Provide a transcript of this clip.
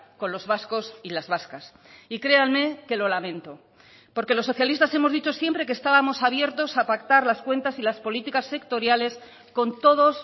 con los vascos y las vascas y créanme que lo lamento porque los socialistas hemos dicho siempre que estábamos abiertos a pactar las cuentas y las políticas sectoriales con todos